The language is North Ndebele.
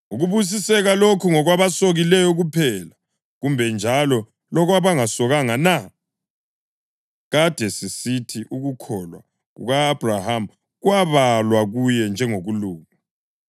Ukubusiseka lokhu ngokwabasokileyo kuphela, kumbe njalo lakwabangasokanga na? Kade sisithi ukukholwa kuka-Abhrahama kwabalwa kuye njengokulunga.